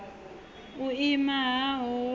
i umana ha hoho ya